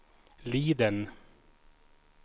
Liden